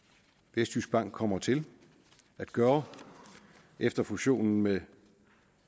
vestjyskbank kommer til at gøre efter fusionen med